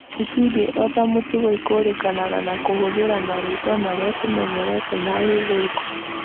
itindiĩ ota mũtugo ikũũrĩkanaga na kũhũthĩra marĩtwa marĩa tũmenyerete ma gĩthũngũ